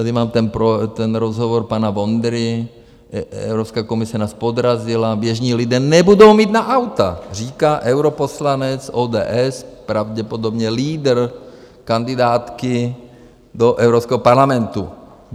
Tady mám ten rozhovor pana Vondry - "Evropská komise nás podrazila, běžní lidé nebudou mít na auta," říká europoslanec ODS, pravděpodobně lídr kandidátky do Evropského parlamentu.